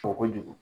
Fɔ kojugu